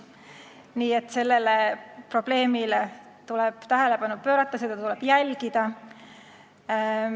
Nii et sellele probleemile tuleb tähelepanu pöörata, seda tuleb jälgida.